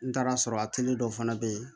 N taara sɔrɔ a teri dɔw fana be yen